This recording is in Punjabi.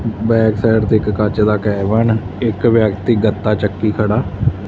ਬੈਕਸਾਈਡ ਤੇ ਇੱਕ ਕੱਚ ਦਾ ਕੈਬਿਨ ਇੱਕ ਵਿਅਕਤੀ ਗੱਤਾ ਚੱਕੀ ਖੜਾ --